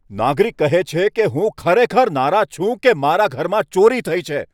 નાગરિક કહે છે કે, હું ખરેખર નારાજ છું કે મારા ઘરમાં ચોરી થઈ છે.